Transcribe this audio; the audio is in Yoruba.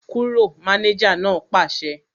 Kúrò! Mánéjà náà pàṣẹ